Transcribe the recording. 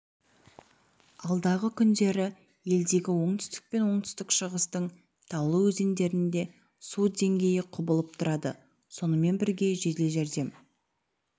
алдағы күндері елдегі оңтүстік пен оңтүстік-шығыстың таулы өзендерінде су деңгейі құбылып тұрады сонымен бірге жедел жәрдем